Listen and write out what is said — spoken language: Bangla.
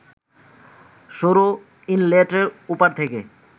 সরু ইনলেটের ওপার থেকে